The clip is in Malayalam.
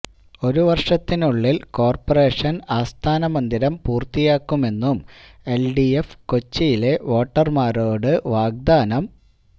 ഒരു വര്ഷത്തിനുള്ളില് കോര്പറേഷന് ആസ്ഥാന മന്ദിരം പൂര്ത്തിയാക്കുമെന്നും എല്ഡിഎഫ് കൊച്ചിയിലെ വോട്ടര്മാരോട് വാഗ്ദാനം